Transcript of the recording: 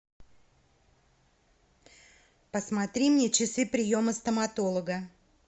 посмотри мне часы приема стоматолога